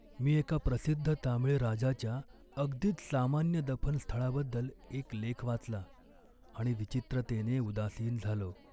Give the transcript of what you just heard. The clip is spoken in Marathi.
मी एका प्रसिद्ध तामीळ राजाच्या अगदीच सामान्य दफनस्थळाबद्दल एक लेख वाचला आणि विचित्रतेने उदासीन झालो.